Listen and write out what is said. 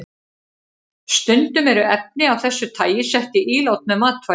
Stundum eru efni af þessu tagi sett í ílát með matvælum.